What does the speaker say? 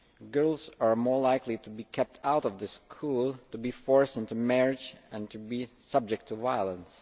Girls are more likely to be kept out of school, to be forced into marriage and to be subject to violence.